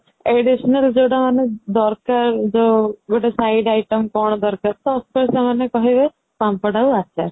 additional ଯୋଉଟା ଆମେ ଦରକାର ଯୋଉ ଗୋଟେ side item କଣ ଦରକାର ତ ସେମାନେ କହିବେ ପାମ୍ପଡ ଆଉ ଆଚାର